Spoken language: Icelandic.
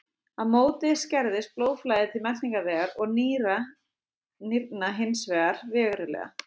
Á móti skerðist blóðflæði til meltingarvegar og nýrna hins vegar verulega.